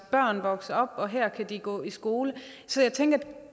børn vokse op og her kunne de gå i skole så jeg tænker at